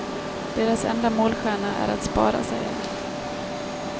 Deras enda målstjärna är att spara, säger han.